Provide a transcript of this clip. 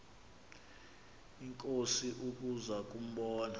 inkosi ukuza kumbona